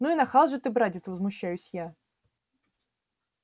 ну и нахал же ты братец возмущаюсь я